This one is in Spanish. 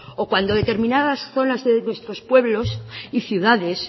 o cuando determinadas zonas de nuestros pueblos y ciudades